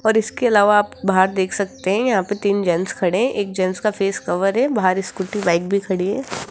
और इसके अलावा आप बाहर देख सकते है यहां पे तीन जेंट्स खड़े एक जेंट्स का फेस कवर है बाहर स्कूटी बाइक भी खड़ी है।